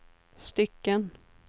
stycken